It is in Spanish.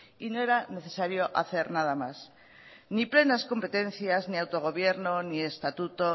y no era necesario hacer nada más ni plenas competencias ni autogobierno ni estatuto